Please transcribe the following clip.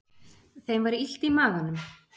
Þeim var illt í maganum.